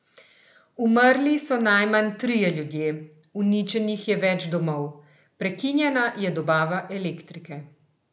Umrli so najmanj trije ljudje, uničenih je več domov, prekinjena je dobava elektrike.